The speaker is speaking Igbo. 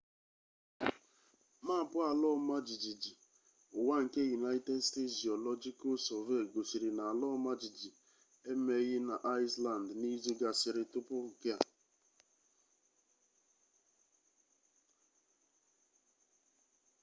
maapụ ala ọma jijiji ụwa nke united states geological survey gosiri na ala ọma jijiji emeghị na iceland n'izu gasịrị tupu nke a